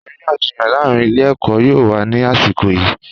Àríyànjiyàn láàárín ilé-ẹ̀kọ́ yóò wà ní àsìkò yìí.